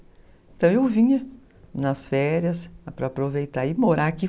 Então, eu vinha nas férias para aproveitar e morar aqui.